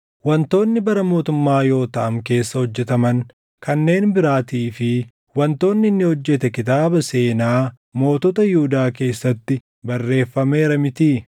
Wantoonni bara mootummaa Yootaam keessaa hojjetaman kanneen biraatii fi wantoonni inni hojjete kitaaba seenaa mootota Yihuudaa keessatti barreeffameera mitii?